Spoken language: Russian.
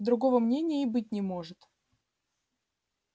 другого мнения и быть не может